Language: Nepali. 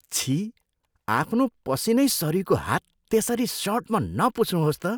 छिः। आफ्नो पसिनैसरिको हात त्यसरी सर्टमा नपुछ्नुहोस् त।